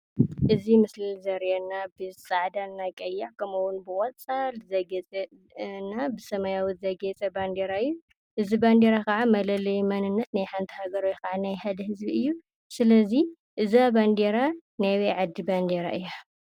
እዙይ ምስሊ ዘርእየና ብፃዕዳን እና ብቀይሕ ከምኡ እውን ብቆፃል ዘግየፀ እና ብሰማያዊ ዘግየፀ ባንዴራ እዩ። እዙይ ባንዴራ ከዓ መለለይ መንነት ናይ ሓንቲ ሃገር ወይ ከዓ ናይ ሓደ ህዝቢ እዩ። ስለዚ እዛ ባንዴራ ናይ ኣበይ ዓዲ ባንዴራ እያ?